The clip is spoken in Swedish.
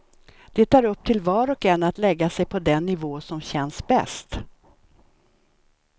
Det är upp till var och en att lägga sig på den nivå som känns bäst.